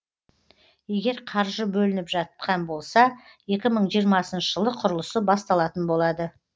егер қаржы бөлініп жатқан болса екі мың жиырмасыншы жылы құрылысы басталатын болады